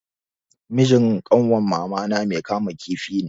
Mijin kanwar mamana mai kama kifi ne.